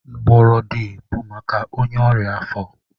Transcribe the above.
Mgbọrọdị bụ maka ọnya afọ